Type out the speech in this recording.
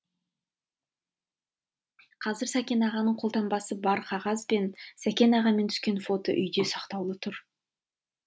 қазір сәкен ағаның қолтаңбасы бар қағаз бен сәкен ағамен түскен фото үйде сақтаулы тұр